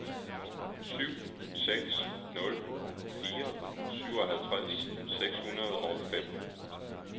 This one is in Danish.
syv seks nul fire syvoghalvtreds seks hundrede og fem